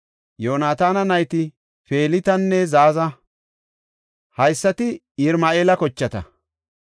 Yoonataana nayti Felitanne Zaaza. Haysati Yirama7eela kochata.